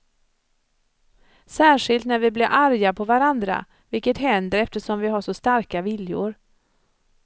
Särskilt när vi blir arga på varandra, vilket händer eftersom vi har så starka viljor.